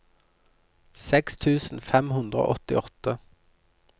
seks tusen fem hundre og åttiåtte